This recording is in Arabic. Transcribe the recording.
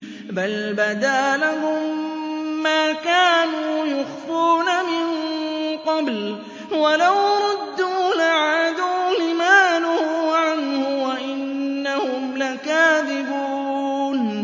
بَلْ بَدَا لَهُم مَّا كَانُوا يُخْفُونَ مِن قَبْلُ ۖ وَلَوْ رُدُّوا لَعَادُوا لِمَا نُهُوا عَنْهُ وَإِنَّهُمْ لَكَاذِبُونَ